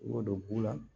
Wo don bulan